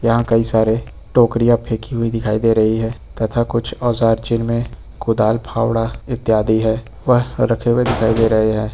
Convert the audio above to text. यहां कई सारे टोकरियां फेंकी हुई दिखाई दे रही है तथा कुछ औजार जिनमें कुदार फावड़ा इत्यादि हैं वह रखे हुए दिखाई दे रहे हैं।